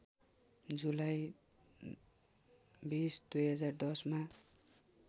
जुलाई २० २०१० मा